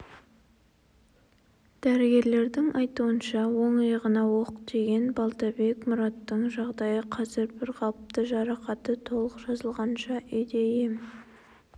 дәрігерлердің айтуынша оң иығына оқ тиген балтабек мұраттың жағдайы қазір бірқалыпты жарақаты толық жазылғанша үйде ем